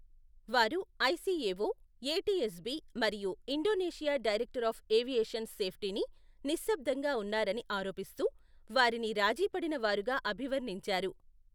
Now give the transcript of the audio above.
వారు ICAO, ATSB మరియు Indonesia director of aviation సేఫ్టీని నిశ్శబ్దంగా ఉన్నారని ఆరోపిస్తూ, వారిని రాజీ పడిన వారుగా అభివర్ణించారు.